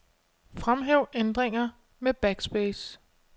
Fremhæv ændringer med backspace.